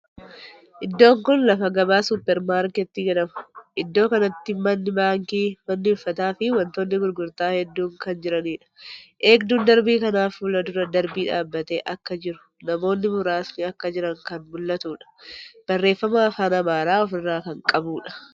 Iddoon kuni lafa gabaa super markeetii jedhama. Iddoo kanatti manni baankii, manni uffataa fii wantoonni gurgurtaa hedduun kan jiraniidha. Eegduun Darbii kanaa fuuldura darbii dhaabbatee akka jiruu namoonni muraasni akka jiran kan mul'atuudha. Barreeffama afaan Amaariffaa ofirraa kan qabuudha.